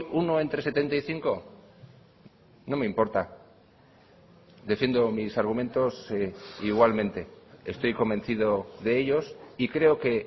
uno entre setenta y cinco no me importa defiendo mis argumentos igualmente estoy convencido de ellos y creo que